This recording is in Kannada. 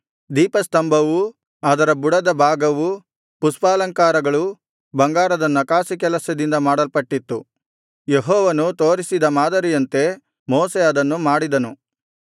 ದೀಪಸ್ತಂಭವೂ ಅದರ ಬುಡದ ಭಾಗವೂ ಪುಷ್ಪಾಲಂಕಾರಗಳೂ ಬಂಗಾರದ ನಕಾಸಿ ಕೆಲಸದಿಂದ ಮಾಡಲ್ಪಟ್ಟಿತ್ತು ಯೆಹೋವನು ತೋರಿಸಿದ ಮಾದರಿಯಂತೆ ಮೋಶೆ ಅದನ್ನು ಮಾಡಿಸಿದನು